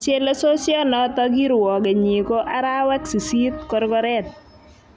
chelesosionotok kirwokenyi ko arawek 8 korgoret